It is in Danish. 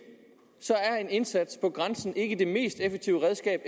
er en indsats på grænsen ikke det mest effektive redskab